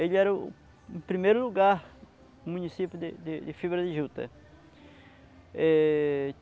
Ele era o o primeiro lugar no município de de de Fibra de Juta. É